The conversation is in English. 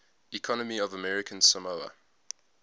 economy of american samoa